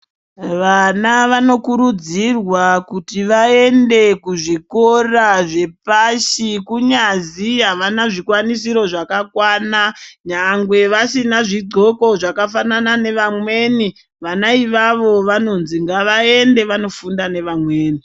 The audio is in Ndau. Vana vanokurudzirwa kuti vaende kuzvikora zvepashi kunyazi evana zvikwanisiro zvakakwana nyangwe vasina zvidxoko zvakafanana nevamweni vana ivavao vanonzi ngavaende vanofunda nevamweni.